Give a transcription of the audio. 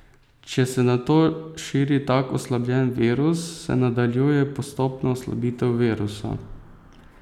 Če se nato širi tak oslabljen virus, se nadaljuje postopna oslabitev virusa.